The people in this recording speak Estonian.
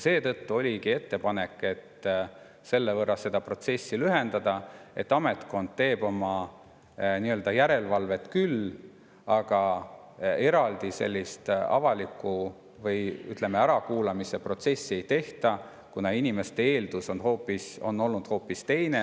Seetõttu oligi ettepanek seda protsessi niimoodi lühendada, et ametkond teeb oma järelevalvet küll, aga eraldi avalikku ärakuulamise protsessi ei tehta, kuna inimeste eeldus on olnud hoopis teine.